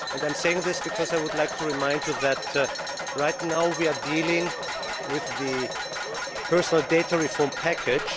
I am saying this because I would like to remind you that, right now, we are dealing with the personal data reform package.